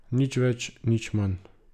Nič več, nič manj.